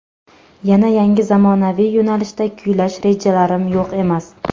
Yana yangi zamonaviy yo‘nalishda kuylash rejalarim yo‘q emas.